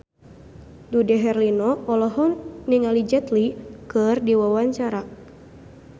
Dude Herlino olohok ningali Jet Li keur diwawancara